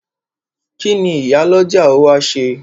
Kíni Ìyálọ́jà ó wá ṣe?